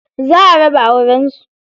Za a raba auren su.